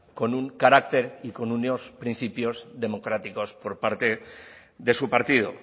con un carácter y con unos principios democráticos por parte de su partido